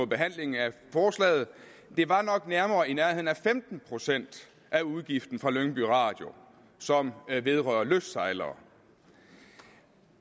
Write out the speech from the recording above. behandling af forslaget det var nok nærmere i nærheden af femten procent af udgiften for lyngby radio som vedrørte lystsejlere